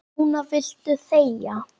Núna viltu þegja.